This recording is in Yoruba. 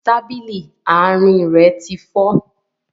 Tábìlì àárín rẹ ti fọ́